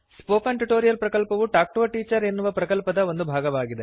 spoken tutorial ಪ್ರಕಲ್ಪವು talk to a teacher ಎನ್ನುವ ಪ್ರಕಲ್ಪದ ಒಂದು ಭಾಗವಾಗಿದೆ